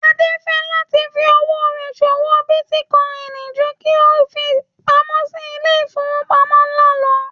Adé fẹ́ láti fí owó rẹ̀ ṣòwò bítíkọìnì ju kí ó fi pamó sí ilé ìfowópamọ́ ńlá lọ